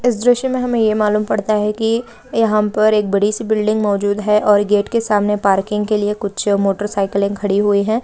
इस दृश्य मे हमें ये मालूम पड़ता है की यहाँ पर एक बड़ी सी बिल्डिंग मोजूद है और गेट के सामने पार्किंग के लिए कुछ मोटरसाइकिलें खड़ी हुई है।